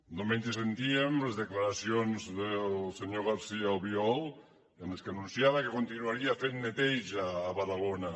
diumenge sentíem les declaracions del senyor garcia albiol en què anunciava que continuaria fent neteja a badalona